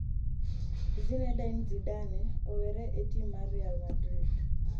Zinedine Zidane owere e tim mar Real Madrid